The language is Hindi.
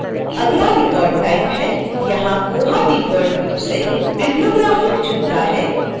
अगला record type है यहाँkoha डिफॉल्ट रूप से bibliographic चुनता है